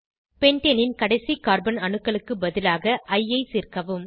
பென்டேனின் கடைசி கார்பன் அணுக்களுக்கு பதிலாக இ ஐ சேர்க்கவும்